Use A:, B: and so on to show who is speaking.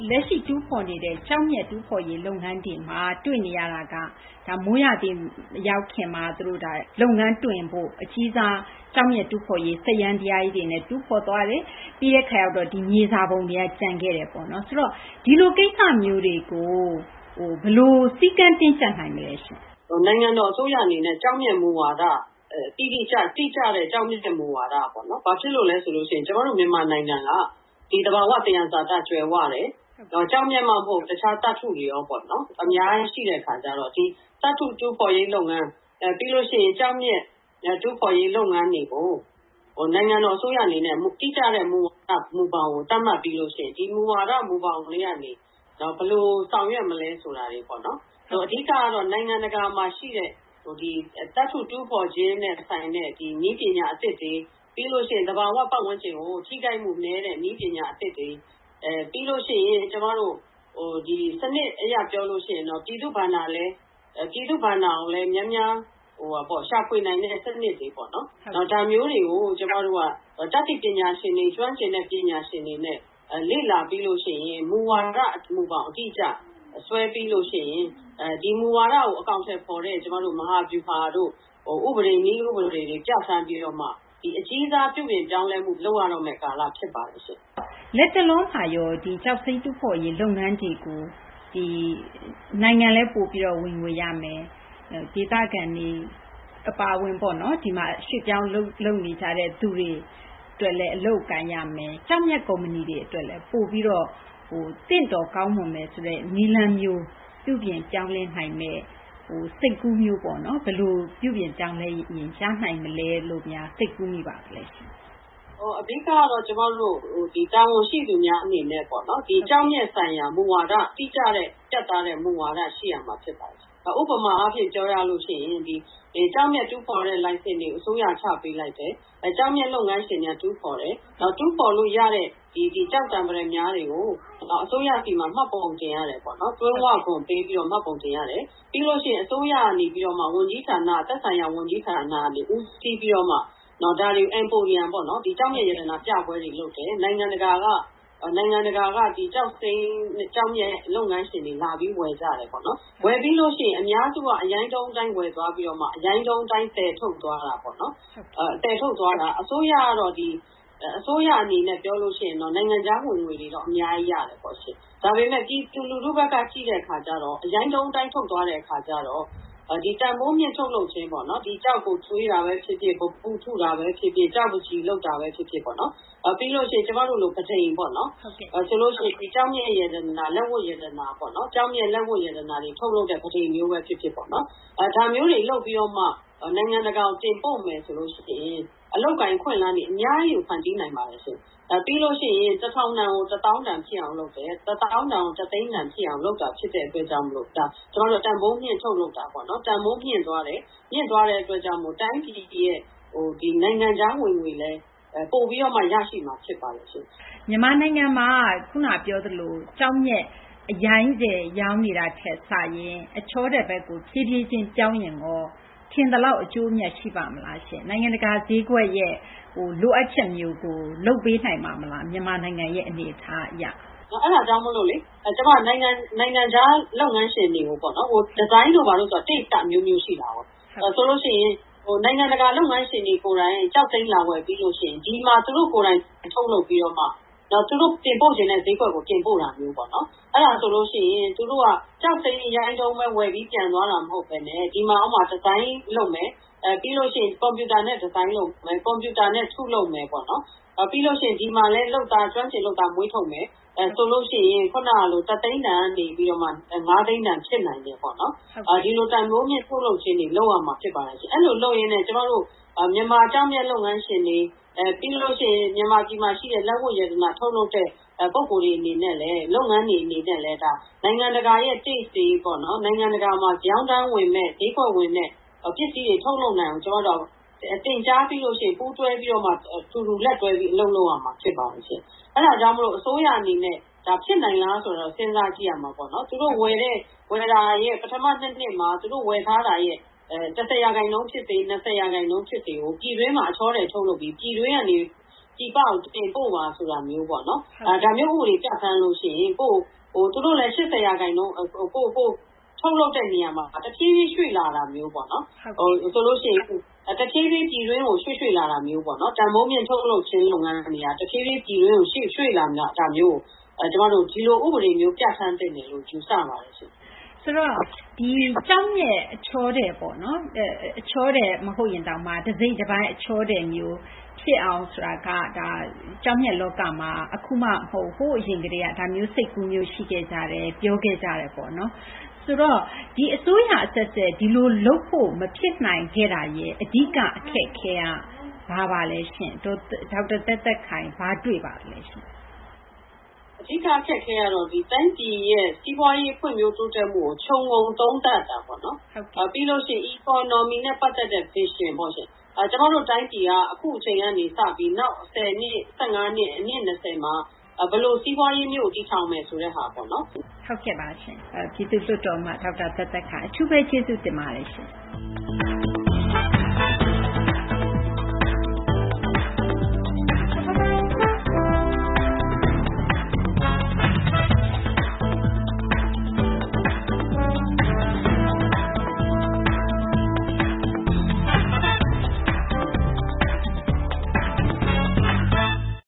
A: လက်ရှိ တူးဖော်နေတဲ့ ကျောက်မျက် တူးဖော်ရေး လုပ်ငန်းတွေမှာ တွေ့နေရတာက မိုးရာသီ မရောက်ခင်မှာ လုပ်ငန်းတွင်ဖို့ အကြီးစား ကျောက်မျက် တူးဖော်ရေး စက်ယန္တရားကြီးတွေနဲ့ တူးဖော်သွားတယ်။ ပြီးတဲ့ အခါ ဒီ မြေစာပုံတွေက ကျန်ခဲ့တယ်ပေါ့နော်။ ဆိုတော့ ဒီလို ကိစ္စမျိုးတွေကို ဘယ်လို စည်းကမ်း တင်းကျပ်နိုင်မလဲရှင့်။
B: နိုင်ငံတော် အစိုးရ အနေနဲ့ ကျောက်မျက် မူဝါဒ တိတိကျကျ၊ တိကျတဲ့ ကျောက်မျက် မူဝါဒပေါ့နော်။ ဘာဖြစ်လို့လဲ ဆိုတော့ ကျမတို့ မြန်မာနိုင်ငံက ဒီ သဘာ၀ သယံဇာတ ကြွယ်ဝတယ်။ ကျောက်မျက်မှ မဟုတ်ဘူး တခြား သတ္တုတွေ ရောပေါ့နော် အများကြီး ရှိတဲ့ အခါကျတော့ ဒီ သတ္တု တူးဖော်ရေး လုပ်ငန်း၊ ပြီးလို့ ရှိရင် ကျောက်မျက် တူးဖော်ရေး လုပ်ငန်းတွေကို နိုင်ငံတော် အစိုးရ အနေနဲ့ တိကျတဲ့ မူဝါဒ မူဘောင်ကို သတ်မှတ် ပြီးလို့ ရှိရင် ဒီ မူဝါဒ မူဘောင်ထဲကနေ ဘယ်လို ဆောင်ရွက်မလဲ ဆိုတာတွေ ပေါ့နော်။ အဓိက ကတော့ နိုင်ငံတကာမှာ ရှိနေတဲ့ ဒီ သတ္တု တူးဖော်ခြင်းနဲ့ ဆိုင်တဲ့ နည်းပညာ အသစ်တွေ၊ ပြီးလို့ ရှိရင် သဘာ၀ ပတ်ဝန်းကျင်ကို ထိခိုက်မှု နည်းတဲ့ နည်းပညာ အသစ်တွေ ပြီးလို့ ရှိရင် ဒီ စနစ် အရ ပြောလို့ ရှိရင်တော့ ပြည်သူ့ ဘဏ္ဍာကိုလည်း များများ ရှာဖွေနိုင်တဲ့ စနစ်တွေ ပေါ့နော်။ နောက် ဒါမျိုးတွေကို ကျမတို့က တတ်သိပညာရှင်တွေ၊ ကျွမ်းကျင်တဲ့ ပညာရှင်တွေနဲ့ လေ့လာပြီးလို့ ရှိရင် မူဝါဒ မူဘောင် အတိအကျ ဆွဲပြီးလို့ ရှိရင် ဒီ မူဝါဒကို အကောင်အထည် ဖော်တဲ့ မဟာဗျူဟာတို့ ဥပဒေ နည်းဥပဒေတွေ ပြဌာန်းပြီးတော့မှ ဒီ အကြီးစား ပြုပြင် ပြောင်းလဲမှု လုပ်ရတော့မယ့် ကာလ ဖြစ်ပါတယ်ရှင့်။
A: လတ်တလောမှာရော ကျောက်စိမ်း တူးဖော်ရေး လုပ်ငန်းတွေကို ဒီ နိုင်ငံလည်း ပိုပြီးတော့ ဝင်ငွေ ရမယ်၊ ဒီ ဒေသခံတွေ အပါအဝင် ပေါ့နော် ရွှေ့ပြောင်း အလုပ်လုပ်နေကြတဲ့သူတွေ အလုပ်အကိုင်ရမယ်၊ ကျောက်မျက် ကုမ္ပဏီတွေ အတွက်လည်း ပိုပြီးတော့ သင့်တော် ကောင်းမွန်မယ် ဆိုတဲ့ နည်းလမ်းမျိုး ပြုပြင်ပြောင်းလဲ နိုင်မယ့် စိတ်ကူးမျိုးပေါ့နော်။ ဘယ်လို ပြုပြင်ပြောင်းလဲရင် ရနိုင်မလဲ လို့များ စိတ်ကူးမိပါလဲရှင့်။
B: အဓိက အနေနဲ့ တာဝန်ရှိသူများ အနေနဲ့ ကျောက်မျက် ဆိုင်ရာ မူဝါဒ တိကျတဲ့ ပြတ်သားတဲ့ မူဝါဒ ရှိရမှာ ဖြစ်ပါတယ်ရှင့်။ ဥပမာ ပြောရလို့ ရှိရင် ဒီ ကျောက်မျက် တူးဖော်တဲ့ လိုင်စင်တွေ အစိုးရက ချပေးလိုက်တယ်၊ ကျောက်မျက် လုပ်ငန်းရှင်တွေက တူးဖော်တယ်။ တူးဖော်လို့ ရတဲ့ ဒီ ကျောက်သံ ပတ္တမြားတွေကို အစိုးရဆီမှာ မှတ်ပုံ တင်ရတယ်ပေါ့နော်။ တွင်း၀ ခွန် ပေးပြီးတော့ မှတ်ပုံတင်ရတယ်။ ပြီးလို့ ရှိရင် အစိုးရက နေပြီးမှ သက်ဆိုင်ရာ ဝန်ကြီးဌာနကနေ ဦးစီးပြီးတော့မှ ဒါတွေကို Emporium ပေါ့နော် ကျောက်မျက် ရတနာ ပြပွဲတွေ လုပ်တယ်။ နိုင်ငံတကာက ကျောက်စိမ်း ကျောက်မျက် လုပ်ငန်းရှင်တွေ လာပြီး ဝယ်ကြတယ် ပေါ့နော်။ ဝယ်ပြီးလို့ ရှိရင် အများစုက အရိုင်းတုံး အတိုင်း ဝယ်ပြီးတော့မှ အရိုင်းတုံး အတိုင်း သယ်ထုတ် သွားတာပေါ့နော်။ အစိုးရ အနေနဲ့ ပြောလို့ ရှိရင် နိုင်ငံခြား ဝင်ငွေတွေတော့ အများကြီး ရတာပေါ့ရှင့်။ ဒါပေမယ့် ပြည်သူ လူထုဘက်က ကြည့်တဲ့ အခါကျတော့ အရိုင်းတုံး အတိုင်း ထုတ်သွားတဲ့ အခါကျတော့ ဒီ တန်ဖိုးမြှင့် ထုတ်လုပ်ခြင်းပေါ့နော်။ ဒီ ကျောက်ကို သွေးတာဘဲ ဖြစ်ဖြစ် ပန်းပု ထုတာဘဲ ဖြစ်ဖြစ် ကျောက်ပန်းချီ လုပ်တာဘဲ ဖြစ်ဖြစ် ပြီးလို့ ရှိရင် ကျမတို့လို ပန်းတိမ်ပေါ့နော် ဒီ ကျောက်မျက် ရတနာ လက်ဝတ် ရတနာပေါ့နော်၊ ကျောက်မျက် လက်ဝတ်ရတနာတွေ ထုတ်လုပ်တဲ့ ပန်းတိမ်မျိုးဘဲ ဖြစ်ဖြစ်ပေါ့။ ဒါမျိုးတွေ လုပ်ပြီးတော့မှ နိုင်ငံတကာကို တင်ပို့မယ် ဆိုလို့ ရှိရင် အလုပ်အကိုင် အခွင့်အလမ်းတွေ အများကြီးကို ဖန်တီးနိုင်ပါတယ်ရှင့်။ ပြီးလို့ ရှိရင် ၁,၀၀၀ တန်ကို ၁၀,၀၀၀ တန်ဖြစ်အောင် လုပ်တယ်။ ၁၀,၀၀၀ တန်ကို ၁၀၀,၀၀၀ တန် ဖြစ်အောင် လုပ်တာ ဖြစ်တဲ့ အတွက်ကြောင့် မို့လို့ ဒါ ကျမတို့က တန်ဖိုးမြှင့် ထုတ်လုပ်တာပေါ့နော်။ တန်ဖိုး မြင့်သွားတယ်၊ မြင့်သွားတဲ့ အတွက်ကြောင့် မို့လို့ တိုင်းပြည်ရဲ့ နိုင်ငံခြား ဝင်ငွေလည်း ပိုပြီးမှ ရရှိမှာ ဖြစ်ပါတယ်ရှင့်။
A: မြန်မာနိုင်ငံမှာ ခုန ပြောသလို ကျောက်မျက် အရိုင်းထည် ရောင်းနေတာထက် စာရင် အချောထည် ဘက်ကို ဖြည်းဖြည်းချင်း ပြောင်းရင်ရော ထင်သလောက် အကျိုးအမြတ် ရှိပါ့မလားရှင့်။ နိုင်ငံတကာ ဈေးကွက်ရဲ့ လိုအပ်ချက်မျိုးကို လုပ်ပေးနိုင်ပါ့မလား။ မြန်မာနိုင်ငံရဲ့ အနေအထား အရ။
B: အဲဒါကြောင့်မို့လေ နိုင်ငံခြား လုပ်ငန်းရှင်တွေကို။ ဒီဇိုင်းဆိုတာက အကြိုက်က အမျိုးမျိုး ရှိတာကိုး။ ဆိုလို့ ရှိရင် နိုင်ငံတကာ လုပ်ငန်းရှင်တွေ ကိုယ်တိုင် ကျောက်စိမ်း လာဝယ် ပြီးလို့ ရှိရင် ဒီမှာ သူတို့ကိုယ်တိုင် ထုတ်လုပ်ပြီးတော့မှ နောက် သူတို့ တင်ပို့လိုတဲ့ ဈေးကွက်ကို တင်ပို့တာမျိုးပေါ့နော်။ အဲဒါမျိုး ဆိုလို့ ရှိရင် သူတို့က ကျောက်စိမ်း အရိုင်းတုံးဘဲ ဝယ်ပြီး ပြန်သွားတာ မဟုတ်ဘဲနဲ့ ဒီမှာ ဒီဇိုင်းလုပ်မယ်၊ ပြီးလို့ ရှိရင် ကွန်ပြူတာနဲ့ ဒီဇိုင်းလုပ်မယ်။ ကွန်ပြူတာနဲ့ ထုတ်လုပ်မယ်ပေါ့နော်။ ပြီးလို့ ရှိရင် ဒီမှာလည်း လုပ်သား ကျွမ်းကျင် လုပ်သား မွေးထုတ်မယ်။ ဆိုလို့ ရှိရင် ခုနကလို ၁၀၀,၀၀၀ တန်ကနေ ၅၀၀,၀၀၀ တန် ဖြစ်နိုင်တယ်ပေါ့နော်။ ဒီလို တန်ဖိုးမြင့် ထုတ်လုပ်ခြင်းတွေ လုပ်ရမှာ ဖြစ်ပါတယ်ရှင့်။ အဲလို လုပ်ရင်းနဲ့ ကျမတို့ မြန်မာ ကျောက်မျက် လုပ်ငန်းရှင်တွေ ပြီးလို့ ရှိရင် မြန်မာပြည်မှာ လက်ဝတ် ရတနာ ထုတ်လုပ်တဲ့ ပုဂ္ဂိုလ်တွေ အနေနဲ့လည်း လုပ်ငန်းတွေ အနေနဲ့လည်း နိုင်ငံတကာရဲ့ အကြိုက်တွေ၊ နိုင်ငံတကာမှာ ရောင်းတန်းဝင်မယ့် ဈေးကွက်ဝင်မယ့် ပစ္စည်းတွေ ထုတ်လုပ်နိုင်အောက် ကျမတို့က သင်ကြားပြီးလို့ ရှိရင် ပူးတွဲပြီးတော့ အတူတူလက်တွဲပြီး အလုပ်လုပ်ရမှာ ဖြစ်ပါတယ်။ အဲဒါကြောင့်မို့လို့ အစိုးရ အနေနဲ့ ဒါ ဖြစ်နိုင်လား ဆိုတာတော့ စဉ်းစား ကြည့်ရမှာပေါ့နော်။ ပထမ နှစ်မှာ သူတို့ ဝယ်ထားတာရဲ့ ၁၀ ရာခိုင်နှုန်း ဖြစ်စေ၊ ၂၀ ရာခိုင်နှုန်း ဖြစ်စေကို ပြည်တွင်းမှာ အချောထည် ထုတ်လုပ်ပြီး ပြည်တွင်းကနေ ပြည်ပကို တင်ပို့ပါ ဆိုတာမျိုးပေါ့နော်။ ဒါမျိုး ဥပဒေ ပြဌာန်းလို့ ရှိရင် သူတို့လည်း ၈၀ ရာခိုင်နှုန်း။ ထုတ်လုပ်တဲ့ နေရာမှာ တဖြည်းဖြည်း ရွှေ့လာတာမျိုးပေါ့။ ဆိုလိ့ု ရှိရင် တဖြည်းဖြည်း ပြည်တွင်းကို ရွှေ့ ရွှေ့ လာတာမျိုး ပေါ့နော်။ တန်ဖိုးမြှင့် ထုတ်လုပ်ခြင်း လုပ်ငန်းတွေက တဖြည်းဖြည်း ပြည်တွင်းကို ရွှေ့လာတာမျိုးကို ကျမတို့ ဒီလို ဥပဒေ မျိုးကို
A: ဟုတ်ကဲ့ ကျောက်မျက် အချောထည်ပေါ့နော်၊ အချောထည် မဟုတ်ရင်တောင် တစိတ်တပိုင်း အချောထည် ဖြစ်အောင် ဆိုတာက ကျောက်မျက် လောကမှာ အခုမှ မဟုတ်ဘူး။ ဟိုး အရင်ကတည်းက ဒါမျိုး စိတ်ကူးမျိုး ရှိခဲ့ကြတယ်။ ပြောခဲ့ကြတယ် ပေါ့နော်။ ဆိုတော့ ဒီ အစိုးရ အဆက်ဆက် ဒီလို လုပ်ဖို့ မဖြစ်နိုင်တာရဲ့ အဓိက အခက်အခဲက ဘာပါလဲရှင့်။ ဒေါက်တာ သက်သက်ခိုင် ဘာတွေ့ပါသလဲရှင့်။
B: အဓိက အခက်အခဲ ကတော့ တိုင်းပြည်ရဲ့ စီးပွားရေး ဖွံ့ဖြိုး တိုးတက်မှုကို ခြုံငုံ သုံးသပ်တာ ပေါ့နော်။ ပြီးလို့ ရှိရင် Economy နဲ့ ပတ်သက်တဲ့ Vision ပေါ့ရှင့်။ ကျမတို့ တိုင်းပြည်က အခုအချိန်ကနေ စပြီးတော့ နောက် ၁၀နှစ် - ၁၅ နှစ် - အနှစ် ၂၀ မှာ ဘယ်လို စီးပွားရေးမျိုးကို တည်ထောင် မယ်ဆိုတဲ့ဟာပေါ့နော်။
A: ဟုတ်ကဲ့ပါရှင့်။ ပြည်သူ့လွှတ်တော် အမတ် ဒေါက်တာ သက်သက်ခိုင် အထူးဘဲ ကျေးဇူးတင်ပါတယ်ရှင့်။